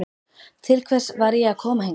Til hvers var ég að koma hingað?